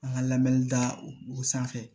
An ka lamɛnni da o sanfɛ